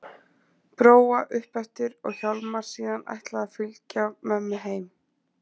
Bróa upp eftir og Hjálmar síðan ætlað að fylgja mömmu heim.